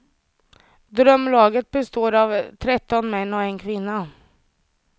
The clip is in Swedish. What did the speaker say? Drömlaget består av tretton män och en kvinna.